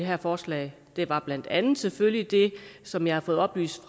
her forslag det var blandt andet selvfølgelig det som jeg har fået oplyst